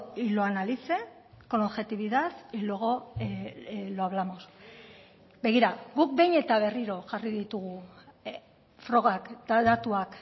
y lo analice con objetividad y luego lo hablamos begira guk behin eta berriro jarri ditugu frogak eta datuak